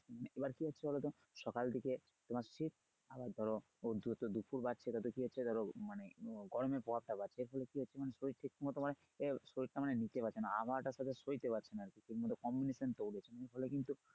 এবার কি হচ্ছে বলো তো সকালের দিকে তোমার শীত আবার ধরো দুপুর বাজছে ততোই কি হচ্ছে ধরো মানে গরমের প্রাভাব টা বাড়ছে তাহলে কি হচ্ছে মানে শরীর ঠিকমত তোমার শরীর টা নিতে পারছে না আবহাওয়াটার সাথে সইতে পারছে না মানে communication টা হচ্ছে না ফলে কিন্তু